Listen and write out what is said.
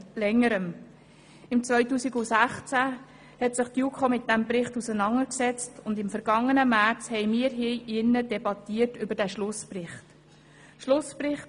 2016 hat sich die JuKo mit diesem Bericht auseinandergesetzt, und im vergangenen März haben wir hier im Rat über den Schlussbericht debattiert.